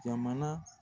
Jamana